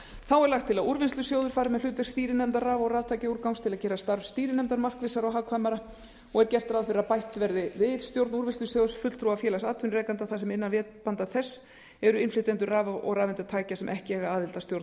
þá er lagt til að úrvinnslusjóður fari með hlutverk stýrinefndar raf og raftækjaúrgangs til að gera starf stýrinefndar markvissara og hagkvæmara og er gert ráð fyrir að bætt verði við stjórn úrvinnslusjóðs fulltrúa félags atvinnurekenda þar sem innan vébanda þess eru innflytjendur raf og rafeindatækja sem ekki eiga aðild að stjórn